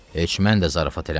Heç mən də zarafat eləmirəm.